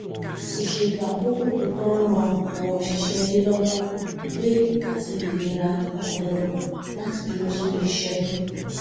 ìṣètò àkókò tó tọ ń ran àwọn òṣìṣẹ́ ilé lọ́wọ́ pé àti ìlera ọpọlọláti dúró sórí iṣẹ́ tó